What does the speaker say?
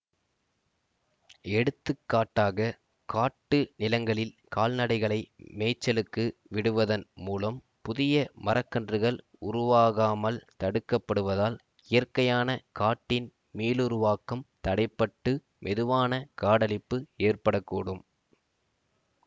எடுத்து காட்டாக காட்டு நிலங்களில் கால்நடைகளை மேய்ச்சலுக்கு விடுவதன் மூலம் புதிய மரக்கன்றுகள் உருவாகாமல் தடுக்கப்படுவதால் இயற்கையான காட்டின் மீளுருவாக்கம் தடை பட்டு மெதுவான காடழிப்பு ஏற்பட கூடும்